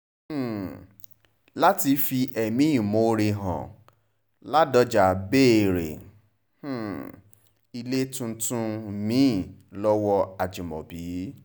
um láti fi ẹ̀mí ìmoore hàn ládọ́já béèrè um ilé tuntun mi-ín lọ́wọ́ ajimobi